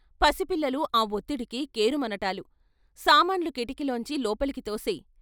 పసిపిల్లలు ఆ వొత్తిడికి కేరుమనటాలు " సామాన్లు కిటికీలోంచి లోపలికి తోసెయ్....